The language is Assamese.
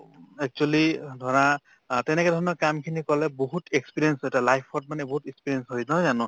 actually অ ধৰা অ তেনেকুৱা ধৰণৰ কামখিনি কলে বহুত experience এটা life ত মানে বহুত experience হয় নহয় জানো